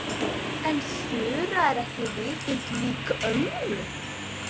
En Þura er ekki vitund lík ömmu.